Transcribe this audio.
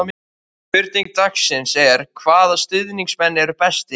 Spurning dagsins er: Hvaða stuðningsmenn eru bestir?